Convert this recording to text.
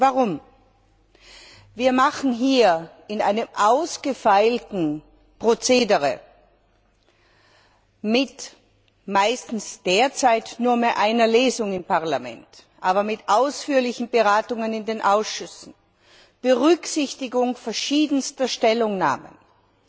Warum? Wir machen hier in einem ausgefeilten Prozedere, derzeit zwar meistens mit nur mehr einer Lesung im Parlament, aber mit ausführlichen Beratungen in den Ausschüssen, unter Berücksichtigung verschiedenster Stellungnahmen, mit